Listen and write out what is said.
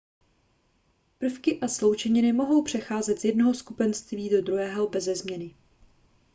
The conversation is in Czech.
prvky a sloučeniny mohou přecházet z jednoho skupenství do druhého beze změny